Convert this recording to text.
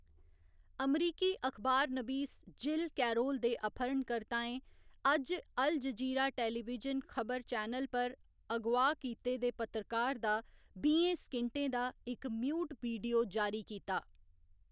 अमरीकी अखबार Jill Carroll दे अपहरणकर्ताएं अज्ज अल जजीरा टेलीविजन खबर चैनल पर अगोआह् कीते दे पत्रकार दा बीहें सकिंटें दा इक म्यूट वीडियो जारी कीता।